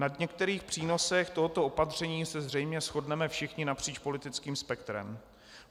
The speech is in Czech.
Na některých přínosech tohoto opatření se zřejmě shodneme všichni napříč politickým spektrem.